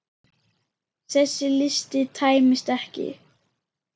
Þessi listi tæmist ekki.